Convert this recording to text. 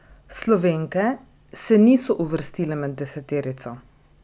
Slovenke se niso uvrstile med deseterico.